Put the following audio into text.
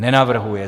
Nenavrhuje.